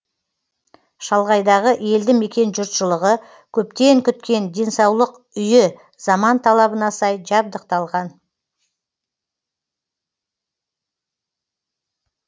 шалғайдағы елді мекен жұртшылығы көптен күткен денсаулық үйі заман талабына сай жабдықталған